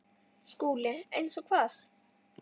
SKÚLI: Eins og hvað?